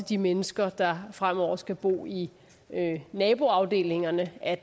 de mennesker der fremover skal bo i naboafdelingerne at